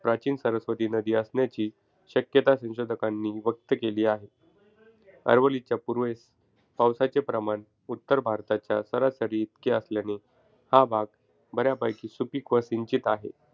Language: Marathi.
प्राचीन सरस्वती नदी असण्याची शक्यता संशोधकांनी व्यक्त केली आहे. अरवलीच्या पूर्वेस पावसाचे प्रमाण उत्तर भारताच्या सरासरी इतके असल्याने हा भाग बऱ्यापैकी सुपीक व सिंचित आहे.